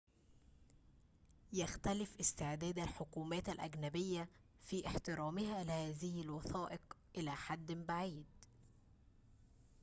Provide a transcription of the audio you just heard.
يختلف استعداد الحكومات الأجنبية في احترامها لهذه الوثائق إلى حدٍ بعيد